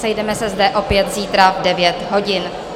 Sejdeme se zde opět zítra v 9 hodin.